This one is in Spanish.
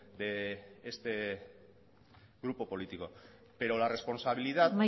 de este grupo político pero la responsabilidad